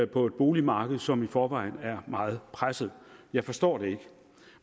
på et boligmarked som i forvejen er meget presset jeg forstår det ikke